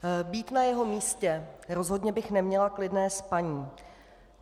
Být na jeho místě, rozhodně bych neměla klidné spaní.